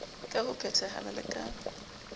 ka ho phethahala le ka